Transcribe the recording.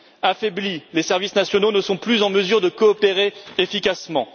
Affaiblis, les services nationaux ne sont plus en mesure de coopérer efficacement.